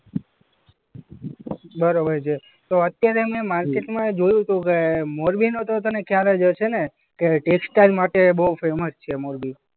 બરોબર છે. તો અત્યારે મેં માર્કેટમાં જોયું કે અ મોરબીનું તો તને ખ્યાલ હશે ને કે ટેક્સટાઈલ માર્કેટ એ બોઉ ફેમસ છે મોરબી?